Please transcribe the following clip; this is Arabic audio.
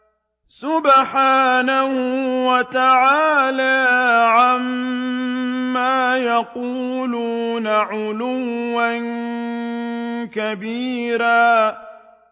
سُبْحَانَهُ وَتَعَالَىٰ عَمَّا يَقُولُونَ عُلُوًّا كَبِيرًا